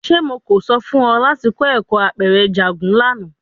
Ṣe Mo ko sọ fun ọ lati kọ ẹkọ apẹrẹ njagun lana?